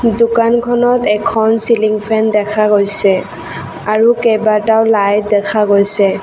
দোকানখনত এখন ceiling fan দেখা গৈছে আৰু কেইবাটাও লাইট দেখা গৈছে।